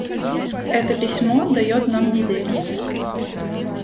это письмо даёт нам неделю